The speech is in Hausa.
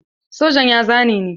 Sojan ya zane ni.